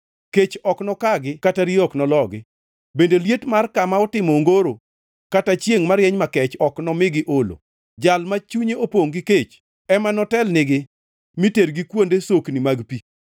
Kech ok nokagi kata riyo ok nologi, bende liet mar kama otimo ongoro, kata chiengʼ marieny makech ok nomigi olo. Jal ma chunye opongʼ gi kech, ema notelnigi mi tergi kuonde sokni mag pi.